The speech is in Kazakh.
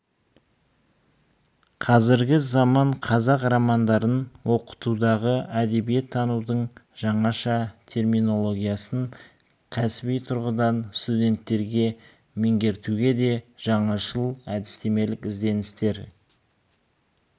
қазіргі заман қазақ романдарын оқытудағы әдебиеттанудың жаңаша терминологиясын кәсіби тұрғыдан студенттерге меңгертуде де жаңашыл әдістемелік ізденістер